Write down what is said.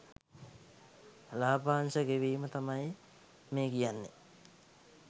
ලාභාංශ ගෙවීම තමයි මේ කියන්නේ